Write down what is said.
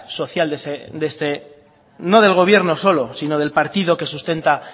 social no del gobierno solo sino del partido que sustenta